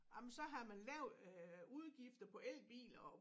Jamen så har man lavet øh udgifter på elbiler og